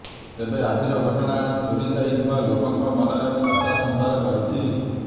ତେବେ ଆଜିର ଘଟଣା ଚୋରି ଯାଇଥିବା ଲୋକଙ୍କ ମନରେ ଆଶା ସଂଚାର କରିଛି